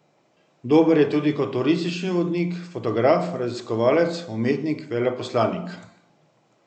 Dober je tudi kot turistični vodnik, fotograf, raziskovalec, umetnik, veleposlanik.